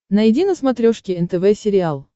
найди на смотрешке нтв сериал